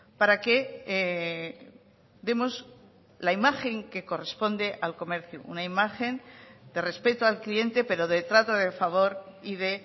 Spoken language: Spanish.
para que demos la imagen que corresponde al comercio una imagen de respeto al cliente pero de trato de favor y de